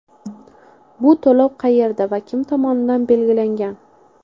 Bu to‘lov qayerda va kim tomonidan belgilangan?